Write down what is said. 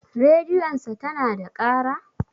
Rediyon sa tana da ƙara?